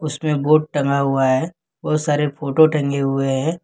इसमें एक बोर्ड टंगा हुआ है बहुत सारे फोटो टंगे हुए हैं।